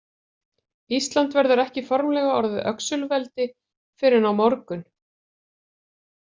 Ísland verður ekki formlega orðið öxulveldi fyrr en á morgun.